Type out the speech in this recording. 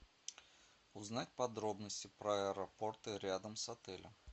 узнать подробности про аэропорты рядом с отелем